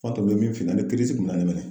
An tun bɛ min ani